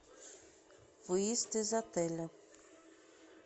выезд из отеля